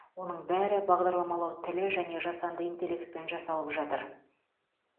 оның бәрі бағдарламалау тілі және жасанды интеллектпен жасалып жатыр